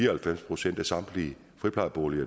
og halvfems procent af samtlige friplejeboliger